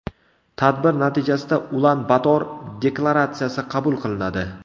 Tadbir natijasida Ulan-Bator deklaratsiyasi qabul qilinadi.